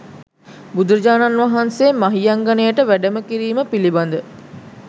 බුදුරජාණන් වහන්සේ මහියංගණයට වැඩම කිරීම පිළිබඳ